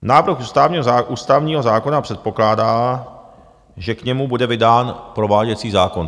Návrh ústavního zákona předpokládá, že k němu bude vydán prováděcí zákon.